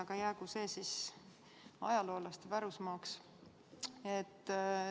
Aga jäägu see ajaloolaste pärusmaaks.